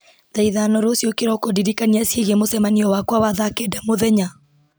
thaa ithano rũciũ kĩroko ndirikania ciĩgiĩ mũcemanio wakwa wa thaa kenda mũthenya